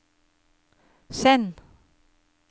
send